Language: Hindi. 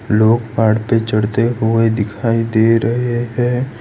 लोग पहाड़ पे चढ़ते हुए दिखाई दे रहे हैं।